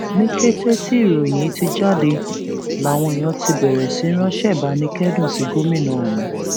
ní kété tí ìròyìn yìí ti jáde làwọn èèyàn ti bẹrẹ sí í ránṣẹ ìbánikẹdùn sí gómìnà ọhún